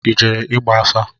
I jere igba afa?